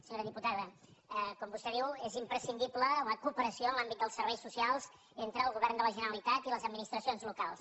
senyora diputada com vostè diu és imprescindible la cooperació en l’àmbit dels serveis socials entre el govern de la ge·neralitat i les administracions locals